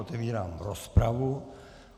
Otevírám rozpravu.